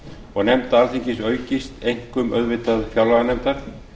og nefnda alþingis aukist einkum auðvitað fjárlaganefndar